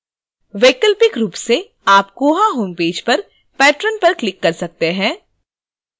वैकल्पिक रूप से आप koha home page पर patrons पर क्लिक कर सकते हैं